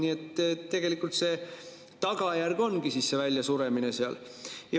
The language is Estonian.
Nii et tegelikult tagajärg ongi see väljasuremine seal.